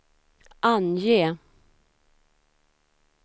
ange